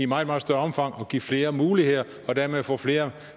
meget meget større omfang altså give flere muligheder og dermed få flere